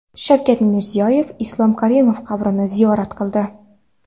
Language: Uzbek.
Shavkat Mirziyoyev Islom Karimov qabrini ziyorat qildi.